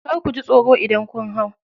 Kar kuji tsoro idan kun hau.